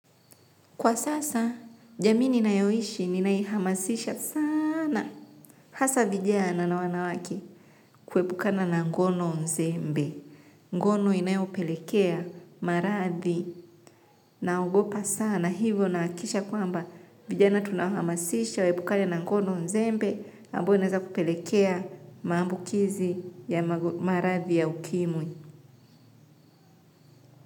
Kwa sasa, jamii ninayoishi, ninaihamasisha sana. Hasa vijana na wanawake kuwepukana na ngono nzembe. Ngono inayopelekea maradhi naogopa sana. Hivyo naakisha kwamba vijana tunahamasisha, wepukana na ngono nzembe. Ambao inaeza kupelekea maambukizi ya maradhi ya ukimwi.